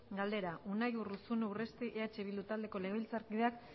galdera unai urruzuno urresti eh bildu taldeko legebiltzarkideak